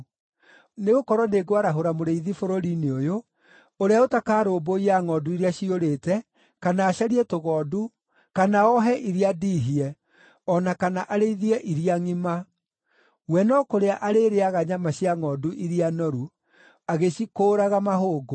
Nĩgũkorwo nĩngwarahũra mũrĩithi bũrũri-inĩ ũyũ, ũrĩa ũtakarũmbũiya ngʼondu iria ciũrĩte, kana acarie tũgondu, kana ohe iria ndiihie, o na kana arĩithie iria ngʼima, we no kũrĩa arĩrĩĩaga nyama cia ngʼondu iria noru, agĩcikũũraga mahũngũ.